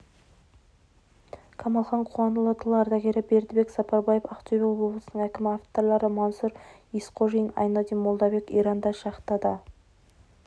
қамалхан қуанұлы тыл ардагері бердібек сапарбаев ақтөбе облысының әкімі авторлары мансұр есқожин айнадин молдабеков иранда шахтада